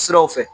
Siraw fɛ